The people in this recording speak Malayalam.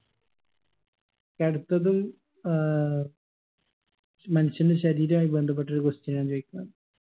അടുത്തത് ഏർ മനുഷ്യന്റെ ശരീരായി ബന്ധപ്പെട്ടൊരു question ആണ് ചോയിക്കുന്നത്